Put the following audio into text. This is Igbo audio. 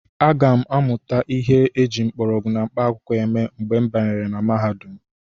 Aga m amụtakwu ihe eji mgbọrọgwụ na mkpaakwụkwọ eme mgbe m banyere na mahadum.